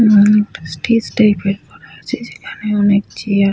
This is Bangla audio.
এবং স্টেজ টাইপ করা আছে যেখানে অনেক চেয়ার --